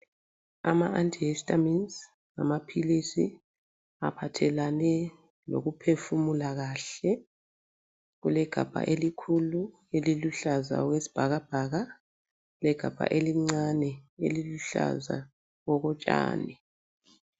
Ama Antihistamines ngamaphilisi aphathelane lokuphefumula kahle. Kulegabha elikhulu eliluhlaza okwesibhakabhaka legabha elincane eliluhlaza okotshani.